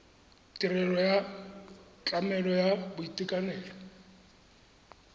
tirelo ya tlamelo ya boitekanelo